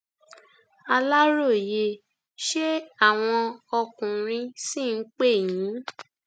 aláròye ṣé àwọn ọkùnrin ṣì ń pè yín